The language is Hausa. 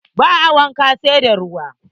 Ba a wanka, sai da ruwa.